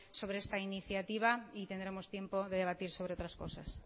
sobre esta iniciativa y tendremos tiempo de debatir sobre otras cosas